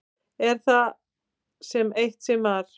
Er af það sem eitt sinn var.